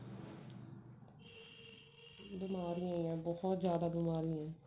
ਬਿਮਾਰੀਆਂ ਨੇ ਬਹੁਤ ਜਿਆਦਾ ਬਿਮਾਰੀਆਂ ਨੇ